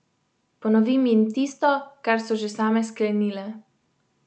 Ponovim jim tisto, kar so že same sklenile.